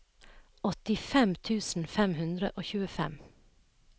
åttifem tusen fem hundre og tjuefem